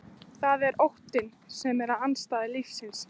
Það er óttinn sem er andstæða lífsins.